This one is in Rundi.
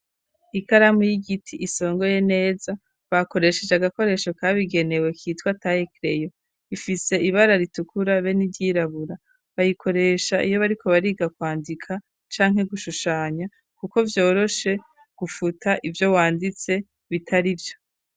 Ikaramu y'igiti isongoye neza bakoresheje agakoresho kabigenewe kitwa taye kereyo, ifise ibara ritukura be n'iryirabura bayikoresha iyo bariko bariga kwandika canke gushushanya kuko vyoroshe gufuta ivyo wanditse bitarivyo.